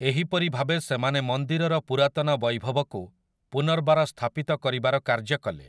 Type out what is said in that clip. ଏହିପରି ଭାବେ ସେମାନେ ମନ୍ଦିରର ପୁରାତନ ବୈଭବକୁ ପୁନର୍ବାର ସ୍ଥାପିତ କରିବାର କାର୍ଯ୍ୟ କଲେ ।